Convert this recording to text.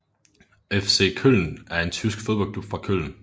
FC Köln er en tysk fodboldklub fra Köln